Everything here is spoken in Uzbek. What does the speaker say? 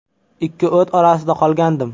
Ikki o‘t orasida qolgandim.